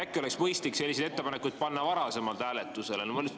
Äkki oleks mõistlik selliseid ettepanekuid panna varem hääletusele?